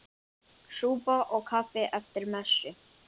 Súpa og kaffi eftir messu.